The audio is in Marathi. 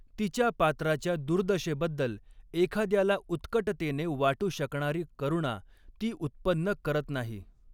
तिच्या पात्राच्या दुर्दशेबद्दल एखाद्याला उत्कटतेने वाटू शकणारी करुणा ती उत्पन्न करत नाही.